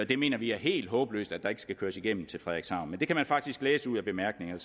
vi mener det er helt håbløst at der ikke skal køres igennem til frederikshavn men man kan faktisk læse ud af bemærkningerne